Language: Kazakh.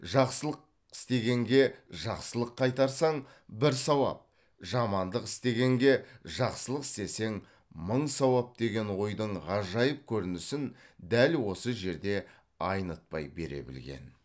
жақсылық істегенге жақсылық қайтарсаң бір сауап жамандық істегенге жақсылық істесең мың сауап деген ойдың ғажайып көрінісін дәл осы жерде айнытпай бере білген